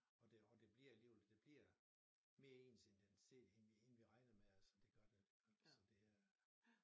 Og det og det bliver alligevel det bliver mere ens end end set end vi egentlig regnet med altså det gør det og så det er